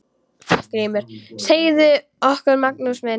GRÍMUR: Segðu okkur, Magnús minn!